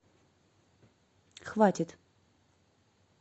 хватит